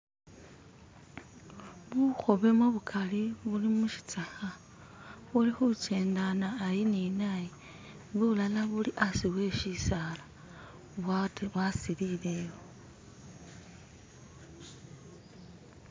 Bukhobemo bukali buli musitsakha, bulikhukyendana ayi ni n'ayi, bulala buli ashi we sisala bwa'silileyo.